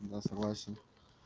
да согласен